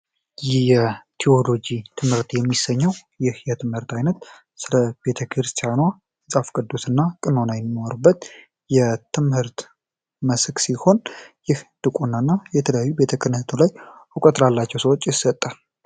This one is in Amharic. ቲዎሎጂ ትምህርት የሚሰኘው ትምህርት አይነት ስለ ክርስቲያኗ ቅዱስ እና ቀኖና የሚሰጥበት የትምህርት ሲሆንና የተለያዩ ቤተ ክህነትና ዲቁና ላላቸው ሰዎች ይሰጣል።